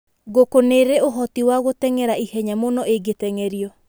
Ngũkũ nĩ irĩ ũhoti wa gũteng'era ihenya mũno ingĩteng'erio.